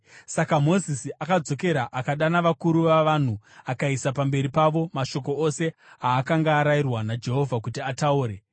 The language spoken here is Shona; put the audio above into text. Saka Mozisi akadzokera akadana vakuru vavanhu akaisa pamberi pavo mashoko ose aakanga arayirwa naJehovha kuti ataure.